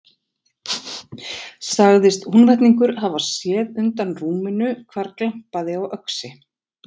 Sagðist Húnvetningur hafa séð undan rúminu hvar glampaði á öxi.